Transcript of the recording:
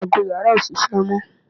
ago yàrá ò ṣiṣẹ́ mọ́